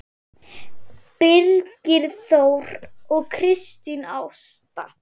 Birgir Þór og Kristín Ásta.